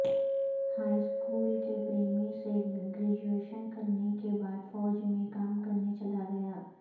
high school کے پریمی سے گریجویشن کرنے کے بعد فوج میں کام کرنے چلا گیا